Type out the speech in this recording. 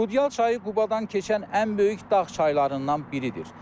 Qudyall çayı Qubadan keçən ən böyük dağ çaylarından biridir.